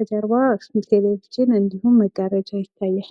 ከጄርባው ቴሌቭዥን እንድሁም መጋረጃ ይታያል።